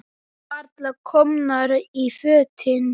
Við varla komnar í fötin.